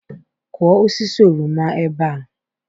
kụọ osisi oroma ebe a!